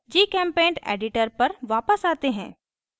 gchempaint editor पर वापस आते हैं